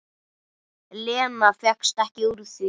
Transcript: Lena fékkst ekki úr því.